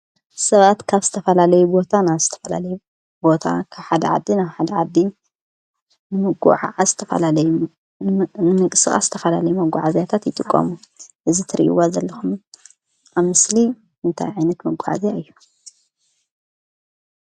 ሰባት ካብ ዝተፈላለዩ ቦታ ናብ ዝተፈላለዩ ቦታ ካብ ሓደ ዓዲ ናብ ሓደ ዓዲ ንምጉዕዓዝ ዝተፈላለዩ ንምንቅስቃስ ዝተፈላለዩ መጓዓዝያታት ይጥቀሙ። እዚ ትሪእዎ ዘለኹም አብ ምስሊ እንታይ ዓይነት መጓዓዝያ እዩ?